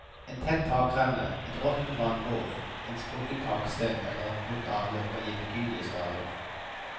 En tett takrenne, et råttent vannbord, en sprukket taksten eller et brutt avløp kan gi betydelige skader.